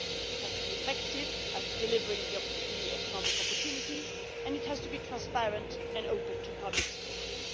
It has to be effective at delivering economic opportunities and it has to be transparent and open to public scrutiny.